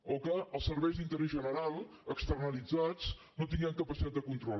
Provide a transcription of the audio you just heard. o que als serveis d’interès general externalitzats no tinguem capacitat de control